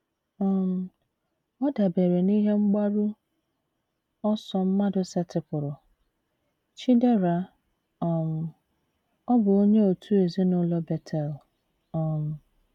“ um Ọ dabeere n’ihe mgbaru ọsọ mmadụ setịpụrụ. ” Chidera, um ọ bụ onye òtù ezinụlọ Betel um